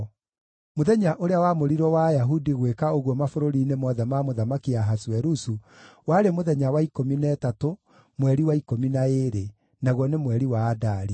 Mũthenya ũrĩa wamũrirwo wa Ayahudi gwĩka ũguo mabũrũri-inĩ mothe ma Mũthamaki Ahasuerusu warĩ mũthenya wa ikũmi na ĩtatũ mweri wa ikũmi na ĩĩrĩ, naguo nĩ mweri wa Adari.